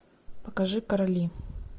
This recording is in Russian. покажи короли